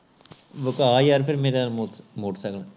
ਵਿਕਾ ਯਾਰ ਮੇਰਾ ਮੋਟਰਸਾਈਕਲ